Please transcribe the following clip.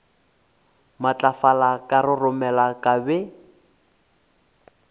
matlafala ka roromela ka be